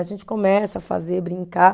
A gente começa a fazer, brincar.